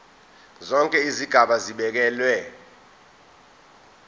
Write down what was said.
zonke izigaba zibekelwe